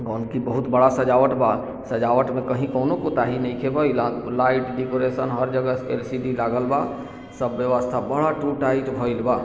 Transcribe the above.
की बहुत बड़ा सजावट बा सजावट में कहीं कोनो नइखे भइल लाइट डेकोरेशन हर जगह एल. सी. डी. लागल बा सब बावस्ता बड़ टूट टाइट भइल बा।